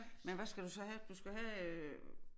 Men hvad skal du så have du skal have øh